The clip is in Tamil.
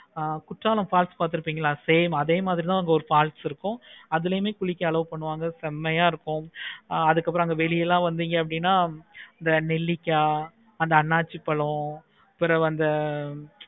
ஆஹ் குற்றால falls பார்த்து இருக்கீங்களா same அதே மாதிரி தான் falls இருக்கும். அதுலையுமே குளிக்க allow பண்ணுவாங்க செம்மையை இருக்கும். அதுக்கு அப்பறம் வெளிய எல்லாம் வந்திங்கனா இந்த நெல்லிக்காய் அன்னாசிப்பழம்